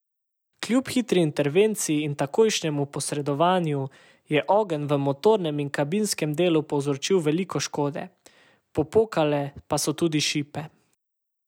Kljub hitri intervenciji in takojšnjem posredovanju, je ogenj v motornem in kabinskem delu povzročil veliko škode, popokale pa so tudi šipe.